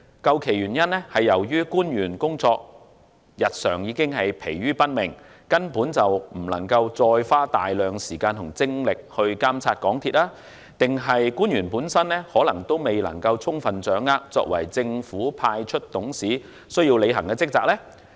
究其原因，是官員日常已疲於奔命，未能再花大量的時間和精力監察港鐵公司，或是官員仍未能充分掌握作為政府派出董事需要履行的職責？